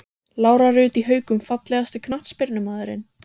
Lára Rut í Haukum Fallegasti knattspyrnumaðurinn?